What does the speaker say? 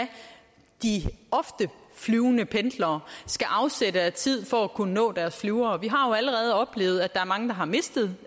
de ofte flyvende pendlere skal afsætte af tid for at kunne nå deres flyvere vi har allerede oplevet at der er mange der har misset